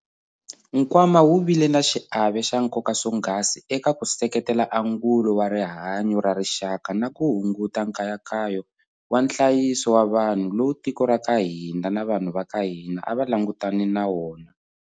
Nkwama wu vile na xiave xa nkoka swonghasi eka ku seketela angulo wa rihanyo ra rixaka na ku hunguta nkayakayo wa nhlayiso wa vanhu lowu tiko ra ka hina na vanhu va ka hina a va langutane na wona.